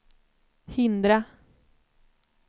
hindra